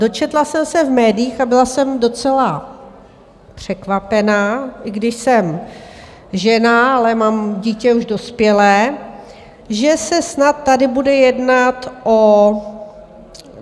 Dočetla jsem se v médiích a byla jsem docela překvapena, i když jsem žena, ale mám dítě už dospělé, že se snad tady bude jednat o...